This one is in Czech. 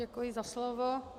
Děkuji za slovo.